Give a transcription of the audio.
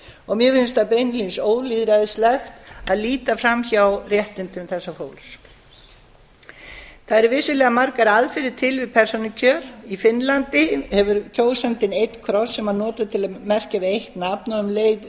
og mér finnst það beinlínis ólýðræðislegt að líta fram hjá réttindum þessa fólks það eru vissulega margar aðferðir til við persónukjör í finnlandi hefur kjósandinn einn kross sem hann notar til að merkja við eitt nafn og um leið